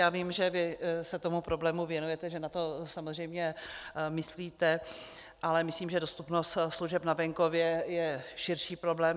Já vím, že vy se tomu problému věnujete, že na to samozřejmě myslíte, ale myslím, že dostupnost služeb na venkově je širší problém.